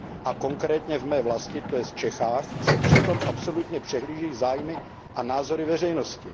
A konkrétně v mé vlasti, to jest v Čechách, se přitom absolutně přehlížejí zájmy a názory veřejnosti.